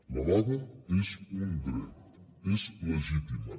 la vaga és un dret és legítima